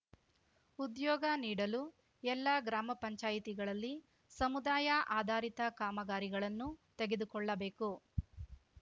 ಉದ್ಯೋಗ ನೀಡಲು ಎಲ್ಲಾ ಗ್ರಾಮ ಪಂಚಾಯಿತಿಗಳಲ್ಲಿ ಸಮುದಾಯ ಆಧಾರಿತ ಕಾಮಗಾರಿಗಳನ್ನು ತೆಗೆದುಕೊಳ್ಳಬೇಕು